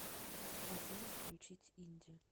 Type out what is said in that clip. афина включить инди